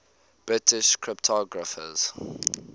british cryptographers